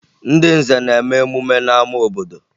Ndị nze na-eme emume n'ama obodo